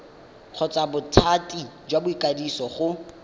kgotsa bothati jwa ikwadiso go